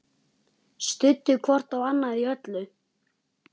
Studdu hvort annað í öllu.